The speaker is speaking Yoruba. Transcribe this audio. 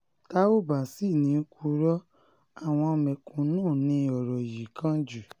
tá ò bá sì ní í purọ́ àwọn mẹ̀kúnnù ni ọ̀rọ̀ yìí kàn jù